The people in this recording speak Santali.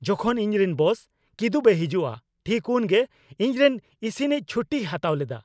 ᱡᱚᱠᱷᱚᱱ ᱤᱧᱨᱮᱱ ᱵᱚᱥ ᱠᱤᱫᱩᱵᱽ ᱮ ᱦᱤᱡᱩᱜᱼᱟ ᱴᱷᱤᱠ ᱩᱱᱜᱮ ᱤᱧᱨᱮᱱ ᱤᱥᱤᱱᱤᱡ ᱪᱷᱩᱴᱤᱭ ᱦᱟᱛᱟᱣ ᱞᱮᱫᱟ ᱾